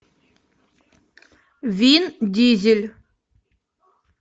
вин дизель